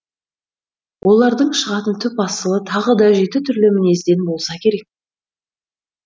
олардың шығатын түп асылы тағы да жеті түрлі мінезден болса керек